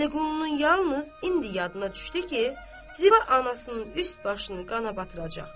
Vəliqulunun yalnız indi yadına düşdü ki, Ziba anasının üst-başını qana batıracaq.